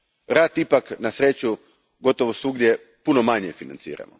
Rat ipak na sreću gotovo svugdje puno manje financira.